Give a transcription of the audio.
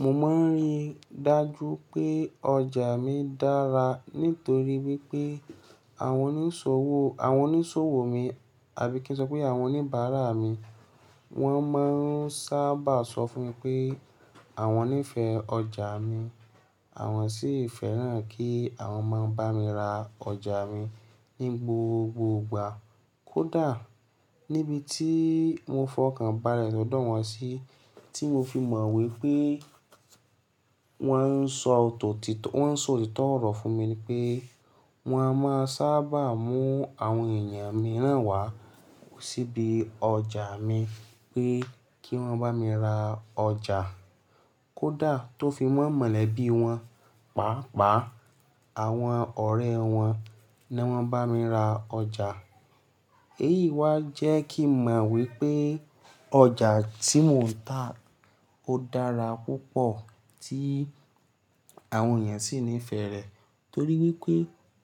Mo máa ń rí dájú pé ọjà mi dára nítorí wípé àwọn oníṣòwò, àwọn oníṣòwò mi àbí kí n sọ pé àwọn oníbàárà mi wọ́n máa ń sábà sọ fún mi pé àwọn nífẹ̀ẹ́ ọjà mi. Àwọn sì fẹ́ràn kí àwọn máa ń bá mi ra ọjà mi ní gbogbogbà. Kódà níbi tí mo fọkàn bá rẹ̀ lọ́dọ̀ wọn sí tí mo fi mọ̀ wípé wọ́n ń sọ òtítọ́ ọ̀rọ̀ fún mi ni pé wọ́n á máa sábà mú àwọn èèyàn mìíràn wá síbi ọjà mi pé kí wọ́n bá mi ra ọjà. Kódà tó fi wọ́n mọ̀lẹ́bí wọn, pàápàá àwọn ọ̀rẹ́ wọn ni wọ́n bá mi ra ọjà. Èyí wá jẹ́ kí n mọ̀ wípé ọjà tí mò ń tà ó dára púpọ̀ tí àwọn èèyàn sì nífẹ̀ẹ́ rẹ̀. Torí wípé